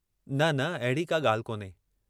न, न अहिड़ी का ॻाल्हि कोन्हे।